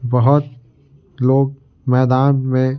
बहुत लोग मैदान में--